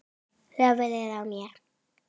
Höfuðið á mér